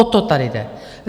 O to tady jde.